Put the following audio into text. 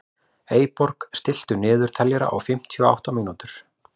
Eyborg, stilltu niðurteljara á fimmtíu og átta mínútur.